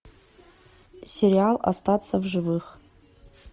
сериал остаться в живых